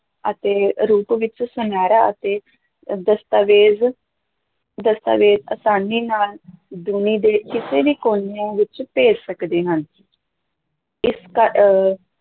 ਅਤੇ ਰੂਪ ਵਿੱਚ ਸੁਨਿਹਰਾ ਅਤੇ ਦਸਤਾਵੇਜ, ਦਸਤਾਵੇਜ ਅਸਾਨੀ ਨਾਲ ਦੁਨੀ ਦੇ ਕਿਸੇ ਵੀ ਕੋਨਿਆਂ ਵਿੱਚ ਭੇਜ ਸਕਦੇ ਹਾਂ ਇਸ ਕ ਅਹ